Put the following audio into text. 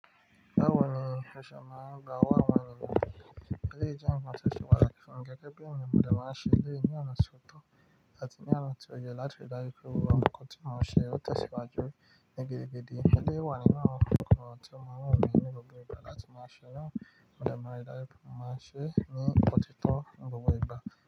Báwo ni o ṣe máa ń gba owo awon eniyan? Eleyii jẹ nkan ti o se pàtàkì fún mi gẹ́gẹ́ bi eniyan mo dẹ̀ máa ṣe èléyìí ní ọ̀nà ti o tọ àti ní ọ̀nà ti o yẹ láti ri dájú pé gbogbo nǹkan tí màá ṣe ó tẹ̀síwájú ní gidigidi. Eleyii wa nínú àwọn nǹkan tí ó ma wùn mí ní gbogbo ìgbà láti máa ṣe náà. Mo dẹ̀ máa nri dájú pe mo maa n se ni ọtí tó ni gbogbo ìgbà.